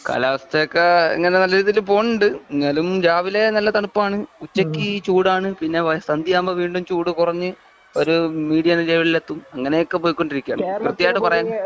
കാലാവസ്ഥയൊക്കെ ഇങ്ങനെ നല്ല രീതിയിൽ പോകുന്നുണ്ട്. എന്നാലും രാവിലെ നല്ല തണുപ്പാണ് ഉച്ചയ്ക്ക് ചൂടാണ്പിന്നെ സന്ധ്യയാകുമ്പോൾ വീണ്ടും ചൂട്.കുറഞ്ഞ്ഒരു മീഡിയം ലെവലിൽ എത്തുംഅങ്ങനെയൊക്കെ പോയിക്കൊണ്ടിരിക്കുകയാണ് ക്രിത്യമായിട്ട് പറയാൻ